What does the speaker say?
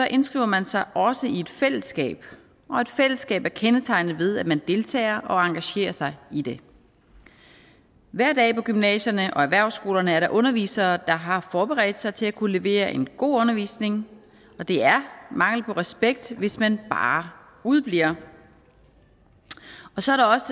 indskriver man sig også i et fællesskab og et fællesskab er kendetegnet ved at man deltager og engagerer sig i det hver dag på gymnasierne og på erhvervsskolerne er der undervisere der har forberedt sig til at kunne levere en god undervisning og det er mangel på respekt hvis man bare udebliver så